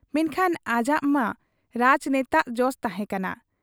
ᱢᱮᱱᱠᱷᱟᱱ ᱟᱡᱟᱜ ᱢᱮ ᱨᱟᱡᱽᱱᱮᱛᱟᱜ ᱡᱚᱥ ᱛᱟᱦᱮᱸ ᱠᱟᱱᱟ ᱾